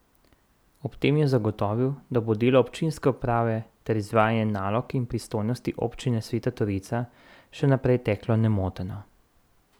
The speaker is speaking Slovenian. Ob tem je zagotovil, da bo delo občinske uprave ter izvajanje nalog in pristojnosti občine Sveta Trojica še naprej teklo nemoteno.